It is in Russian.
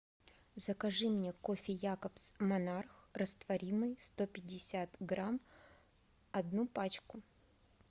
закажи мне кофе якобс монарх растворимый сто пятьдесят грамм одну пачку